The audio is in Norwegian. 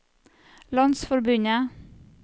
landsforbundet